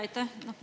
Aitäh!